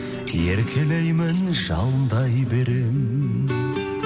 еркелеймін жалындай беремін